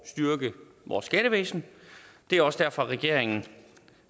styrke vores skattevæsen det er også derfor regeringen